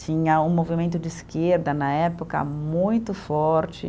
Tinha um movimento de esquerda na época muito forte.